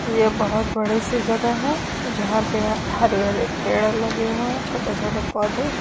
ये बहुत बड़ी सी जगह है यहां पे हरे हरे पेड़ लगे हुए हैं छोटे छोटे पौधे।